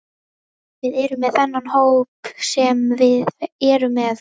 Við erum með þennan hóp sem við erum með.